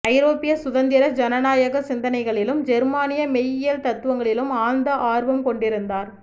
ஐரோப்பிய சுதந்திர ஜனநாயகச் சிந்தனைகளிலும் ஜெர்மானிய மெய்யியல் தத்துவங்களிலும் ஆழ்ந்த ஆர்வம்கொண்டிருந்தார்